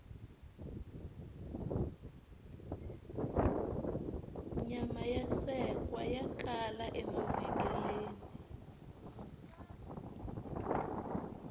nyama ya sekwa ya kala emavhengeleni